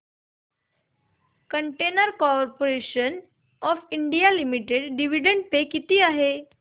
container corporation of India limited dividend pay किती आहे